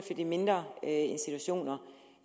de mindre institutioner